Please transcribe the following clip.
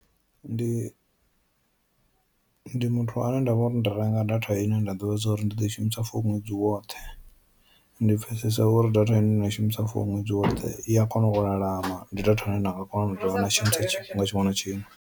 Ndi ndi muthu ane ndavha uri ndi renga data ine nda ḓivha zwori ndi ḓo i shumisa for ṅwedzi woṱhe, ndi pfesesa uri data ine nda i shumisa for ṅwedzi woṱhe i a kona u lalama ndi datha ine nda nga kona tshifhinga tshiṅwe na tshiṅwe.